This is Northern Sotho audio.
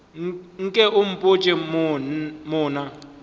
nke o mpotše mo na